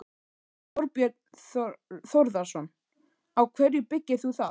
Þorbjörn Þórðarson: Á hverju byggir þú það?